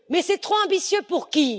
Mais c'est trop ambitieux pour qui?